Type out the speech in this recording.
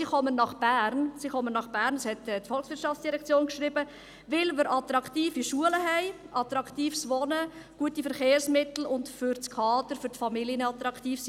Sie kommen nach Bern – das hat die VOL geschrieben –, weil wir attraktive Schulen haben, attraktives Wohnen, gute Verkehrsmittel und für das Kader, für die Familien attraktiv sind.